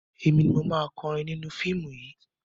Èmi ni mo máa kọrin nínú fíìmù yìí.